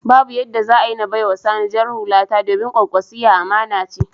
Babu yadda za a yi na bai wa Sani jar hukata, domin Kwankwasiyya amana ce.